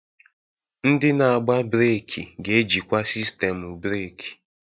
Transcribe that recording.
Ndị na-agba breeki ga-ejikwa sistemu breeki.